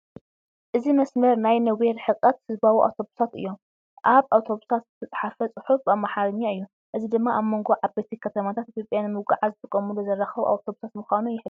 እዚ መስመር ናይ ነዊሕ ርሕቀት ህዝባዊ ኣውቶቡሳት እዩ። ኣብ ኣውቶቡሳት ዝተፃሕፈ ጽሑፍ ብኣምሓርኛ እዩ። እዚ ድማ ኣብ መንጎ ዓበይቲ ከተማታት ኢትዮጵያ ንምጕዓዝ ዝጥቀሙሉ ዘራክብ ኣውቶቡሳት ምዃኑን ይሕብር።